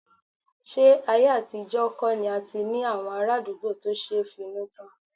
Ṣé ayé àtijọ́ kọ̀ ni a ti ní àwọn ará àdúgbò tó ṣe finútán?